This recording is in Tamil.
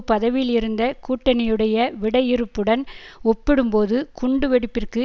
பதவியில் இருந்த கூட்டணியுடைய விடையிறுப்புடன் ஒப்பிடும்போது குண்டு வெடிப்பிற்கு